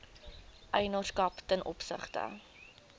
eienaarskap ten opsigte